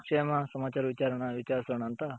ಕ್ಷೇಮ ಸಮಾಚಾರ ವಿಚರ್ಸೋನಾ ಅಂತ.